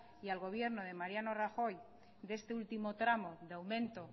y al gobierno de mariano rajoy de este último tramo del aumento